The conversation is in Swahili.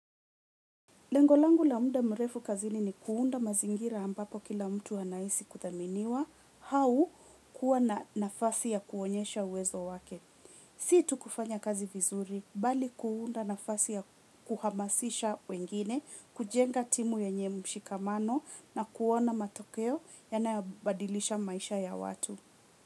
Lengolangu la munda mrefu kazini ni kuunda mazingira ambapo kila mtu anaisi kuthaminiwa hau kuwa na nafasi ya kuonyesha uwezo wake. Si tu kufanya vizuri bali kuunda nafasi ya kuhamasisha wengine kujenga timu yenye mshikamano na kuona matokeo yanayobadilisha maisha ya watu.